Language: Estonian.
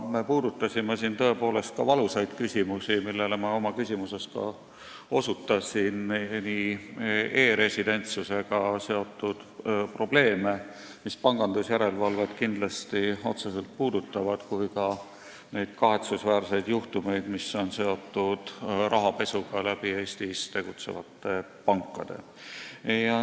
Me puudutasime siin aga tõepoolest ka valusaid küsimusi, millele ma oma küsimuses viitasin, nii e-residentsusega seotud probleeme, mis pangandusjärelevalvet kindlasti otseselt puudutavad, kui ka neid kahetsusväärseid juhtumeid, mis on seotud rahapesuga Eestis tegutsevate pankade kaudu.